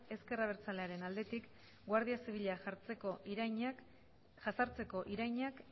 ezker abertzalearen aldetik guardia zibila jazartzeko irainak